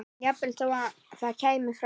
Jafnvel þó það kæmi frá